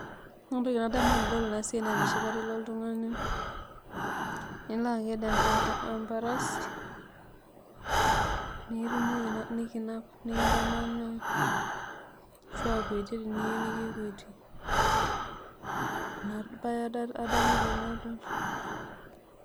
Ore entoki nadamu tanadol enasiai naa enoshi kata ilo oltungani nilo aked emparasi nikitumoki nikinap nikintamaana ashu akuetie teniyieu nikikwetie, neaku inabae adamu tanadol.